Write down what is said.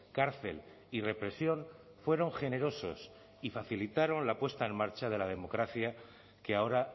cárcel y represión fueron generosos y facilitaron la puesta en marcha de la democracia que ahora